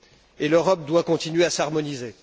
Et l'Europe doit continuer à s'harmoniser.